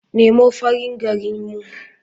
Nemo farin gari mun.